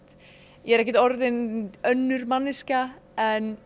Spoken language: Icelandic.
ég er ekkert orðin önnur manneskja en